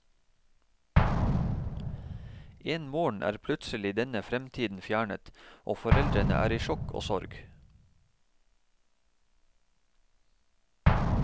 En morgen er plutselig denne fremtiden fjernet, og foreldrene er i sjokk og sorg.